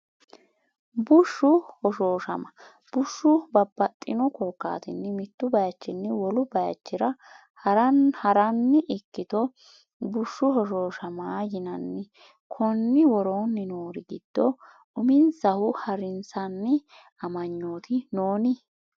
Bushshu Hoshooshama Bushshu babbaxxino korkaatinni mittu bayichinni wolu bayichira ha’ran ikkito bushshu hoshooshama yinanni, Konni woroonni noori giddo uminsahu ha’rinsanni amanyooti noon?